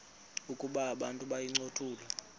ukuba abantu bayincothule